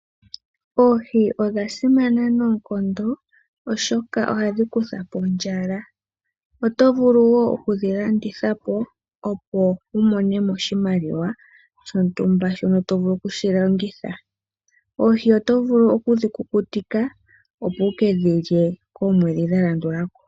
Oohi odhasimana noonkondo oshoka ohadhi kuthapo ondjala. Otovulu woo oku dhilanditha po opo wumono oshimaliwa shontumba shono tovulu oku longitha. Oohi otovulu oku dhikukutika opo wu kedhilye koomwedhi dha landulako.